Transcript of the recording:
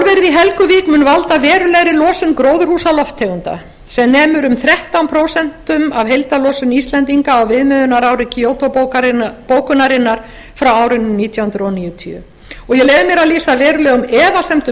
í helguvík a valda verulegri losun gróðurhúsalofttegunda sem nemur um þrettán prósent af heildarlosun íslendinga á viðmiðunarári kyoto bókunarinnar frá árinu nítján hundruð níutíu og ég leyfi mér að lýsa verulegum efasemdum